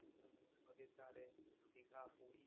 নদীর ধারে দিঘা পুরি